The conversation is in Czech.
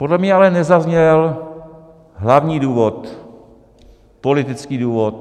Podle mě ale nezazněl hlavní důvod, politický důvod.